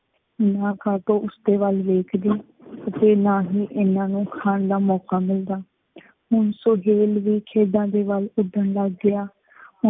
ਨਾ ਕਾਟੋ ਉਸ ਦੇ ਵੱਲ ਵੇਖਦੀ ਅਤੇ ਨਾ ਹੀ ਇਨ੍ਹਾਂ ਨੂੰ ਖਾਣ ਦਾ ਮੌਕਾ ਮਿਲਦਾ। ਹੁਣ ਸੁਹੇਲ ਵੀ ਖੇਡਾਂ ਦੇ ਵੱਲ ਉੱਡਣ ਲੱਗ ਗਿਆ।